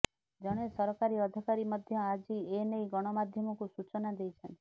ଜଣେ ସରକାରୀ ଅଧିକାରୀ ମଧ୍ୟ ଆଜି ଏ ନେଇ ଗଣମାଧ୍ୟମକୁ ସୂଚନା ଦେଇଛନ୍ତି